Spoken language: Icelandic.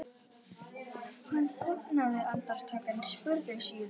Hann þagnaði andartak en spurði síðan